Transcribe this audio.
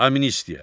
Amnistiya.